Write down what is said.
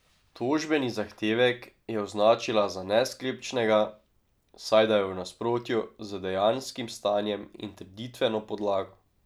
Tožbeni zahtevek je označila za nesklepčnega, saj da je v nasprotju z dejanskim stanjem in trditveno podlago.